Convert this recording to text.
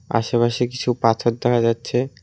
আশেপাশে কিছু পাথর দেখা যাচ্ছে।